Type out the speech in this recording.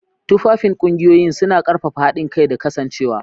Tufafin kungiyoyin, suna ƙarfafa haɗin kai da kasancewa.